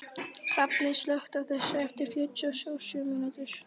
Hrafney, slökktu á þessu eftir fjörutíu og sjö mínútur.